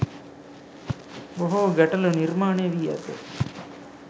බොහෝ ගැටලු නිර්මාණය වී ඇත.